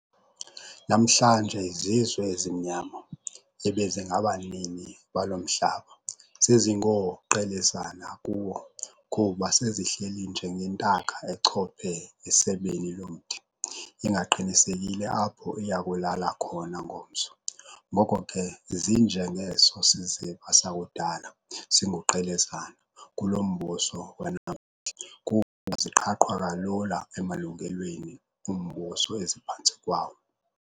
Namhlanje izizwe ezimnyama, ebezingabanini balo mhlaba, sezingooQelezana kuwo, kuba sezihleli nje ngentaka echophe esebeni lomthi, ingaqinisekile apho iyakulala khona ngomso, ngoko ke zinje ngeso siziba sakudala, singuQelezana, kulo mbuso wanamhla, kuba ziqhaqhwa kalula emalungelweni ombuso eziphantsi kwawo.